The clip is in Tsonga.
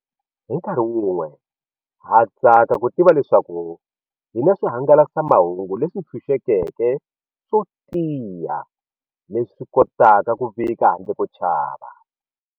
Hi nkarhi wun'we, ha tsaka ku tiva leswaku hi na swihangalasamahungu leswi tshunxekeke swo tiya leswi kotaka ku vika handle ko chava.